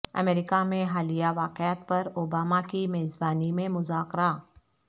امریکہ میں حالیہ واقعات پر اوباما کی میزبانی میں مذاکرہ